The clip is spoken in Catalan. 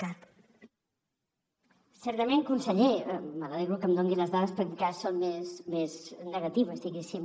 certament conseller me n’alegro que em doni les dades perquè encara són més negatives diguéssim